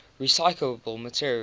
recyclable materials